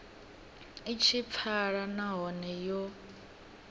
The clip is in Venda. i tshi pfala nahone yo